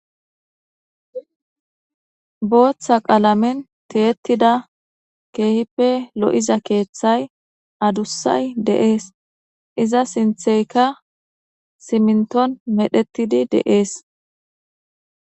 booththa qalamen teyettida keehippe lo7iza keeththay adussay de7ees iza sintheyka siminton medhetidi de7ees